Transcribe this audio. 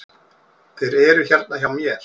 Þeir eru hérna hjá mér.